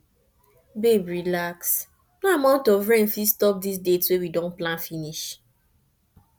babe relax no amount of rain fit stop dis date we don plan finish